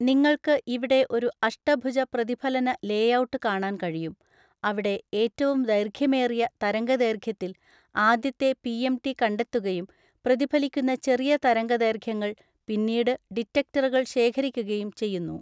നിങ്ങൾക്ക് ഇവിടെ ഒരു അഷ്ടഭുജ പ്രതിഫലന ലേഔട്ട് കാണാൻ കഴിയും. അവിടെ ഏറ്റവും ദൈർഘ്യമേറിയ തരംഗദൈർഘ്യത്തിൽ, ആദ്യത്തെ പിഎംടി കണ്ടെത്തുകയും, പ്രതിഫലിക്കുന്ന ചെറിയ തരംഗദൈർഘ്യങ്ങൾ, പിന്നീട് ഡിറ്റക്ടറുകൾ ശേഖരിക്കുകയും ചെയ്യുന്നു.